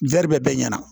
bɛɛ ɲɛna